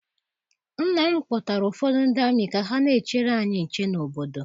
Nna m kpọtara ụfọdụ ndị amị ka ha na-echere anyị nche n'obodo.